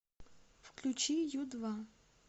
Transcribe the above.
включи ю два